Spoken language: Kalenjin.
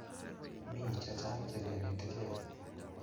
Mi chechang' che kenetikey